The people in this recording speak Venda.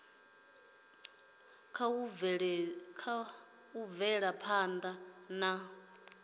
kha u bvela phanda na